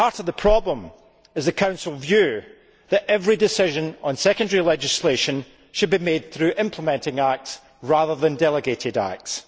At the heart of the problem is the Council's view that every decision on secondary legislation should be made through implementing acts rather than delegated acts.